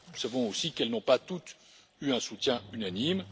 Nous savons aussi qu'elles n'ont pas toutes eu un soutien unanime.